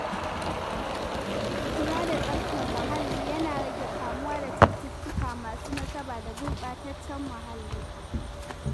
Kula da tsaftar muhalli yana rage kamuwa da cututtuka masu nasaba da gurɓataccen muhalli.